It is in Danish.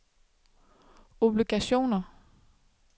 obligationer